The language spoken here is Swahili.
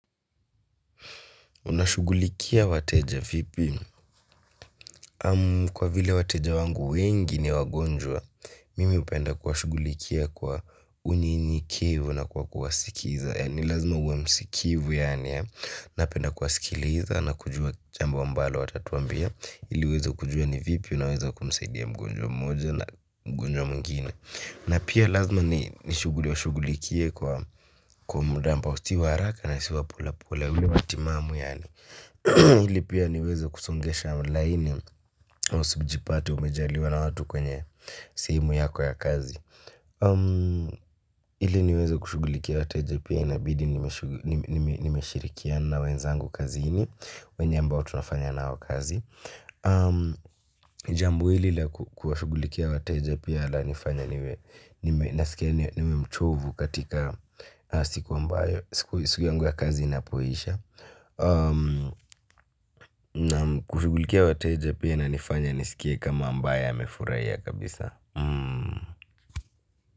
Unashugulikia wateja vipi? Kwa vile wateja wangu wengi ni wagonjwa mimi hupenda kuwa shughulikia kwa unyenyekevu na kwa kuwasikiza ni lazima uwe msikivu yaani napenda kuwasikiliza na kujua jambo ambalo watatuambia ili uweze kujua ni vipi unaweza kumsaidia mgonjwa mmoja na mgonjwa mwingine na pia lazima niwashughulikie kwa muda ambao si wa haraka na si wa pole pole ule wa timamu yaani ili pia niweze kusongesha laini usijipate umejaliwa na watu kwenye sehemu yako ya kazi. Hili niweze kushugulikia wateja pia inabidi. Nimeshirikia na wenzangu kazi ini. Wenye ambao tunafanya na hawa kazi. Jambo hili la kuwashugulikia wateja pia ala nifanya. Nime mchovu. Katika siku ambayo siku yangu ya kazi inapoisha naam kushughulikia wateja pia inanifanya niskie ni kama ambaye amefurahia kabisa.